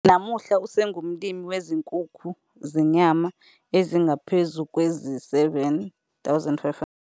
Namuhla, usengumlimi wezinkukhu zenyama ezingaphezu kwezi-7 500.